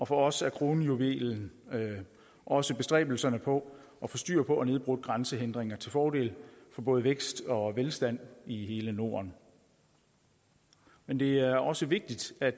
for os er kronjuvelen også bestræbelserne på at få styr på og nedbrudt grænsehindringer til fordel for både vækst og velstand i hele norden men det er også vigtigt at